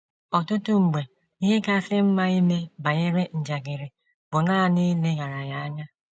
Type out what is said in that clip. Ọtụtụ mgbe, ihe kasị mma ime banyere njakịrị bụ nanị ileghara ya anya